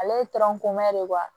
Ale ye dɔrɔn konɛ de wa